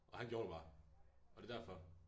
Og han gjorde det bare og det derfor